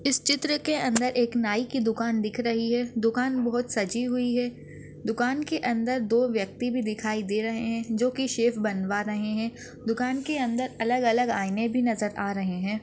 इस चित्र के अंदर एक नाई की दुकान दिख रही है दुकान बहुत सजी हुई है दुकान के अंदर दो व्यक्ति भी दिखाई दे रहे है जो की शेव बनवा रहे है दुकान के अंदर अलग अलग आईने भी नजर आ रहे है।